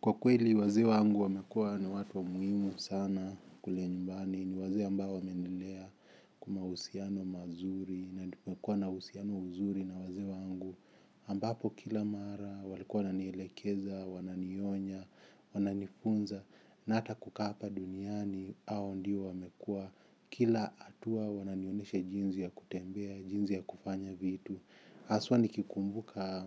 Kwa kweli wazee wangu wamekuwa ni watu wa muhimu sana kule nymbani ni wazee ambao wamenilea kwa mahusiano mazuri na ninapokuwa na husiano nzuri na wazee wangu ambapo kila mara walikuwa nanielekeza, wananionya, wananifunza na hata kukaa hapa duniani hao ndio wamekuwa kila hatua wananionyesha jinsi ya kutembea, jinsi ya kufanya vitu. Haswa nikikumbuka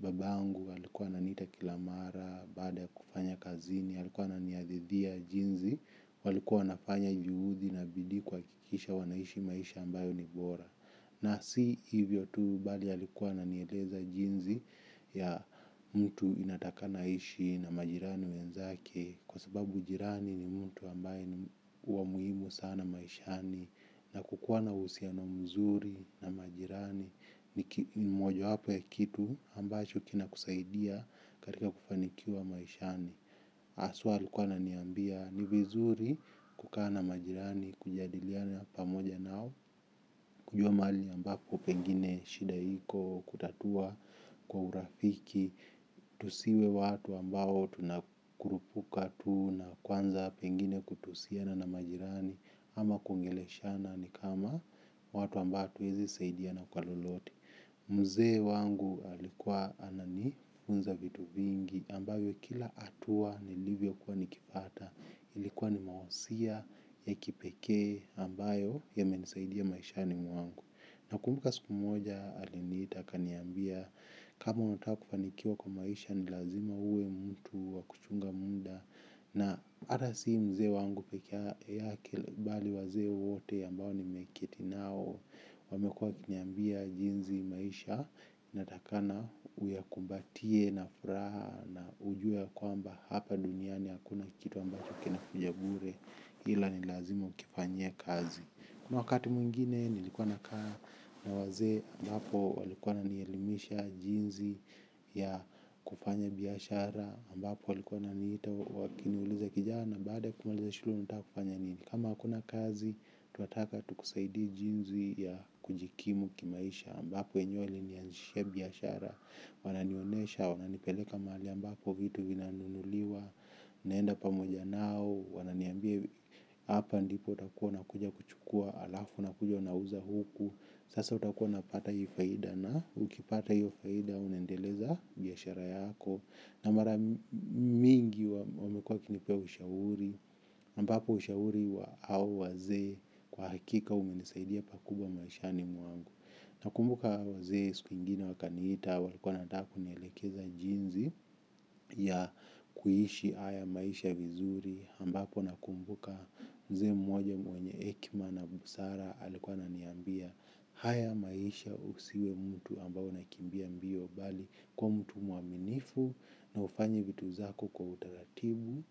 babangu, alikuwa ananiita kila mara, baada ya kufanya kazini, alikuwa ananihadithia jinsi, walikuwa wanafanya juhudi na bidii kuhakikisha wanaishi maisha ambayo ni bora. Na si hivyo tu bali alikuwa ananieleza jinsi ya mtu unatakana aishi na majirani wenzake. Kwa sababu ujirani ni mtu ambaye huwa muhimu sana maishani. Na kukuwa na husiano mzuri na majirani ni moja wapo ya kitu ambacho kina kusaidia katika kufanikiwa maishani haswa alikuwa ananiambia ni vizuri kukaa na majirani kujadiliana pamoja nao. Kujua mahali ambapo pengine shida iko kutatua kwa urafiki. Tusiwe watu ambao tunakurupuka tu na kwanza pengine kutusiana na majirani. Ama kuongeleshana ni kama watu ambao hatuwezi saidiana kwa lolote. Mzee wangu alikuwa anani funza vitu vingi ambavyo kila hatua nilivyo kuwa nikipata ilikuwa ni mahusia ya kipekee ambayo yamenisaidia maishini mwangu nakumbuka siku moja aliniita akaniambia kama unataka kufanikiwa kwa maisha ni lazima uwe mtu wa kuchunga muda na hata si mzee wangu pekee yake bali wazee wote ambao nimeketi nao wamekuwa wakiniambia jinsi maisha inatakikana uya kumbatie na furaha na ujue kwamba hapa duniani hakuna kitu ambacho kina kuja bure ila nilazima ukifanyie kazi. Wakati mwingine nilikuwa na kaa na wazee ambapo walikuwa wananielimisha jinsi ya kufanya biashara ambapo walikuwa wananiita wakiniuliza kijana baada ya kumaliza shule unataka kufanya nini. Kama hakuna kazi tunataka tukusaidie jinsi ya kujikimu kimaisha ambapo enyewe walinianzishia biashara wananionyesha, wananipeleka mahali ambapo vitu vinanunuliwa naenda pamoja nao wananiambia hapa ndipo utakuwa unakuja kuchukua alafu unakuja unauza huku sasa utakuwa napata hiyo faida na ukipata hiyo faida unaendeleza biashara yako na mara mingi wamekuwa wakinipa ushauri ambapo ushauri wa hao wazee kwa hakika umenisaidia pakubwa maishani mwangu. Nakumbuka wazee siku ingine wakaniita walikuwa nataka kunielekeza jinsi ya kuishi haya maisha vizuri ambapo nakumbuka mzee moja mwenye hekima na busara alikuwa ananiambia haya maisha usiwe mtu ambao unakimbia mbio bali kwa mtu mwaminifu na ufanye vitu zako kwa utaratibu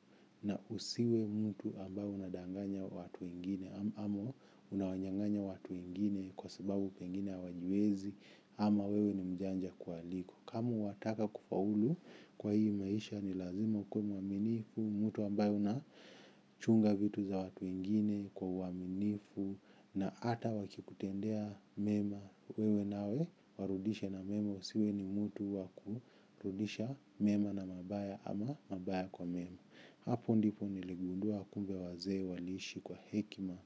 na usiwe mtu ambaye unadanganya watu wengine ama unawanyanganya watu wengine kwa sababu pengine hawajiwezi ama wewe ni mjanja kuwaliko. Kama wataka kufaulu kwa hii maisha ni lazima ukuwe mwaminifu. Mtu ambaye unachunga vitu za watu wengine kwa uwaminifu. Na hata wakikutendea mema wewe nawe warudishe na mema usiwe ni mtu wa ku rudisha mema na mabaya ama mabaya kwa mema. Hapo ndipo niligundua kumbe wazee waliishi kwa hekima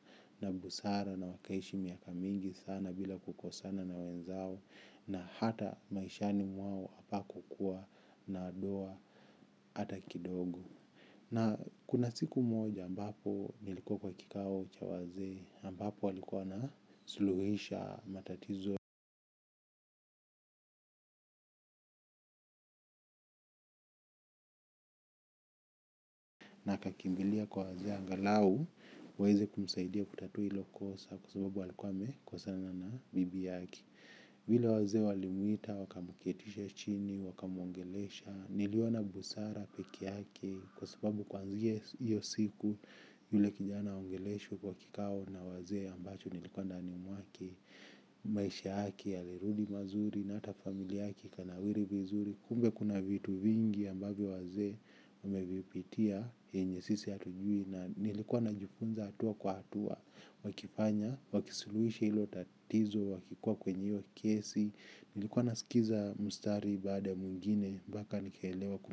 na busara na wakaishi miaka mingi sana bila kukosana na wenzao na hata maishani mwao hapa kukuwa na doa hata kidogo. Na kuna siku moja ambapo nilikuwa kwa kikao cha wazee ambapo walikuwa na suluhisha matatizo kakimbilia kwa wazee angalau waweze kumsaidia kutatua hilo kosa kwa sababu walikuwa wamekosana na bibi yake. Vile wazee walimuita, wakamuketisha chini, wakamuongelesha, niliona busara pekee yake kwa sababu kwanzia hiyo siku yule kijana aongeleshwa kwa kikao na wazee ambacho nilikuwa ndani mwake, maisha yake, yalirudi mazuri na hata familia yake kana wiri vizuri. Kumbe kuna vitu vingi ambavyo wazee wamevipitia yenye sisi hatujui na nilikuwa najufunza hatua kwa hatua wakifanya, wakisuluhisha hilo tatizo, wakikuwa kwenye hiyo kesi nilikuwa nasikiza mustari baada ya mwingine, mpaka nikaelewa kumilu.